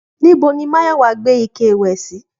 Níbo ni Máyọ̀wá gbé ike ìwẹ̀ sí?